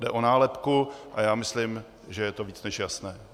Jde o nálepku a já myslím, že je to víc než jasné.